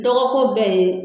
Dɔgɔ ko bɛ yen .